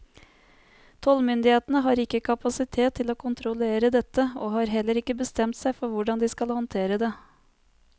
Tollmyndighetene har ikke kapasitet til å kontrollere dette, og har heller ikke bestemt seg for hvordan de skal håndtere det.